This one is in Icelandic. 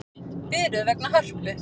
Biðröð vegna Hörpu